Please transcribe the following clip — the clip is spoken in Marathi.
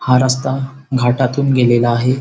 हा रस्ता घाटातून गेलेला आहे.